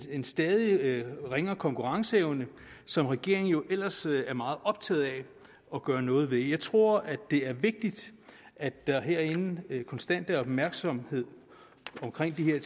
en stadig ringere konkurrenceevne som regeringen ellers er meget optaget af at gøre noget ved jeg tror det er vigtigt at der herinde konstant er opmærksomhed omkring de her